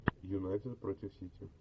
юнайтед против сити